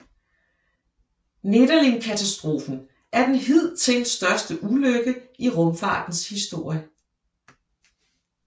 Nedelinkatastrofen er den hidtil største ulykke i rumfartens historie